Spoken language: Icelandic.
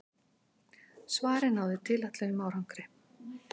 Svarið náði tilætluðum árangri.